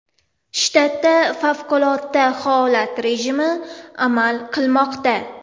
Shtatda favqulodda holat rejimi amal qilmoqda.